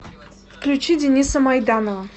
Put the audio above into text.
включи дениса майданова